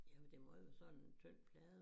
Jamen det må jo være sådan en tynd plade